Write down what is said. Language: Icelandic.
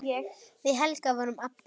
Við Helga vorum ABBA.